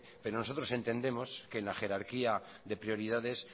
pero nosotros entendemos que en la jerarquía de prioridades